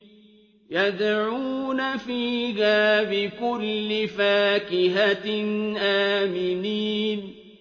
يَدْعُونَ فِيهَا بِكُلِّ فَاكِهَةٍ آمِنِينَ